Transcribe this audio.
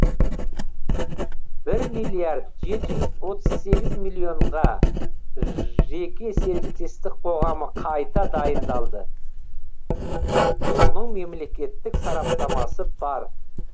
бір миллиард жеті жүз отыз сегіз миллионға жеке серіктестік қоғамы қайта дайындалды оның мемлекетттік сараптамасы бар